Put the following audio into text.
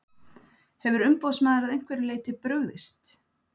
Hefur umboðsmaður að einhverju leyti brugðist?